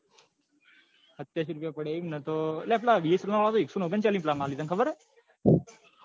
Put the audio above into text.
હત્યાસી રૂપિયા પડ્યા છે એમને અલ્યા પેલા bsnl વાળા તો એકસો ઓગણચાલીસ નો plan આપે તને ખબર છે અલ્યા?